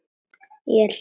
Ég er hlýleg.